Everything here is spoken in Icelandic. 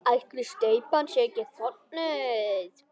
Ætli steypan sé ekki þornuð?